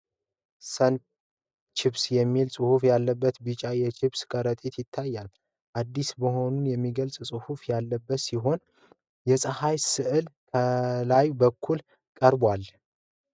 ሰን ቺፕስ የሚል ጽሑፍ ያለበት ቢጫ የቺፕስ ከረጢት ይታያል። አዲስ መሆኑን የሚገልጽ ጽሑፍ ያለበት ሲሆን የፀሐይ ስዕል ከላይ በኩል ቀርቧል።